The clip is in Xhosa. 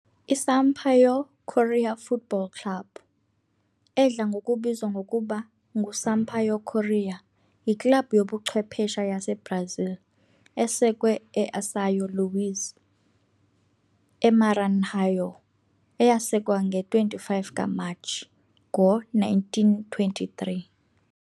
I-Sampaio Corrêa Futebol Clube, edla ngokubizwa ngokuba nguSampaio Corrêa, yiklabhu yobuchwephesha yaseBrazil esekwe eSão Luís, eMaranhão eyasekwa nge-25 kaMatshi ngo-1923.